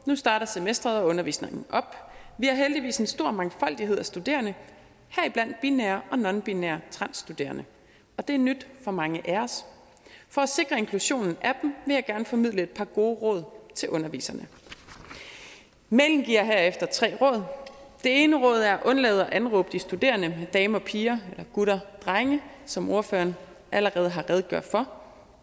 nu starter semestret og undervisningen op vi har heldigvis en stor mangfoldighed af studerende heriblandt binære og nonbinære transstuderende og det er nyt for mange af os for at sikre inklusionen af dem vil jeg gerne formidle et par gode råd til underviserne mailen giver herefter tre råd det ene råd er at undlade at anråbe de studerende damer og piger eller gutter og drenge som ordførerne allerede har redegjort for